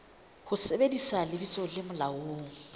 ho sebedisa lebitso le molaong